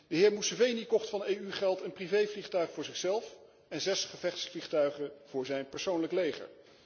De heer Museveni kocht van EU geld een privévliegtuig voor zichzelf en 6 gevechtsvliegtuigen voor zijn persoonlijk leger.